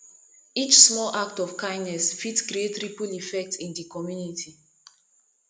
each small act of kindness fit create ripple effect in di community